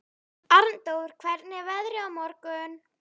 Arndór, hvernig er veðrið á morgun?